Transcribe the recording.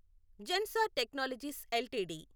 Zensar technologies LTD